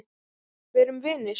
Verum vinir.